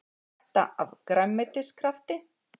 Skvetta af grænmetiskrafti